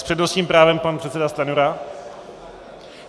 S přednostním právem pan předseda Stanjura.